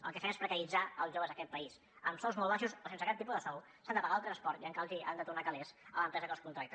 el que fem és precaritzar els joves d’aquest país amb sous molt baixos o sense cap tipus de sou s’han de pagar el transport i encara han de tornar calés a l’empresa que els contracta